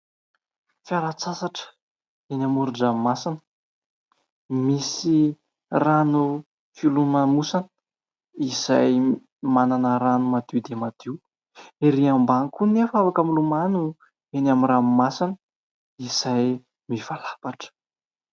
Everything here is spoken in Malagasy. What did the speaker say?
Fialan-tsasatra eny amoron-dranomasina: misy rano filomanosana izay manana rano madio dia madio, ery ambany koa anefa afaka milomano eny amin'ny ranomasina izay mivalapatra.